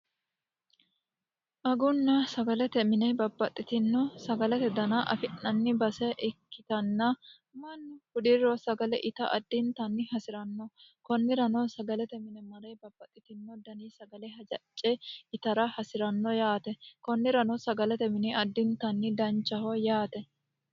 agunno sagalate mine babbaxxitinno sagalate dana afi'nanni base ikkitanna mannu hudiriro sagale ita addintanni hasi'ranno kunnirano sagalete mine mare babbaxxitino dani sagale hajacce itara hasi'ranno yaate kunnirano sagalate mine addintanni danchaho yaate.